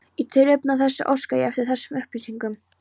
Í tilefni af þessu óska ég eftir þessum upplýsingum